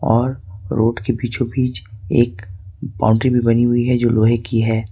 और रोड के बीचों बीच एक बाउंड्री भी बनी हुई है जो लोहे की है।